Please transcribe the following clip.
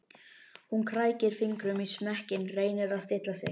Hún krækir fingrum í smekkinn, reynir að stilla sig.